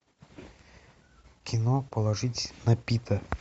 кино положитесь на пита